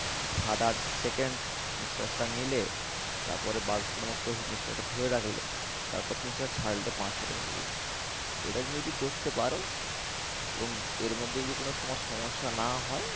সাত আট second নিঃশ্বাসটা নিলে তারপরে বারো second মতো নিঃশ্বাসটা ধরে রাখলে তারপর তুমি নিঃশ্বাসটা ছাড়লে পাঁচ second পর্যন্ত এটা তুমি যদি করতে পারো এবং এর মধ্যে যদি কোনো তোমার সমস্যা না হয়